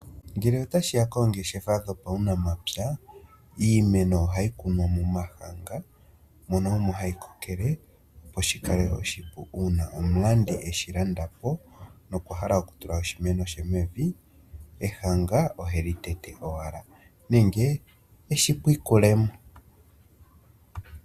Ngele otashi ya koongeshefa dhopaunamapya, iimeno ohayi kunwa momahanga mono omo hayi kokele opo shi kale oshipu uuna omulandi eshi landa po nokwa hala okutula oshimeno she mevi ehanga oheli tete owala nenge eshi pwikule mo.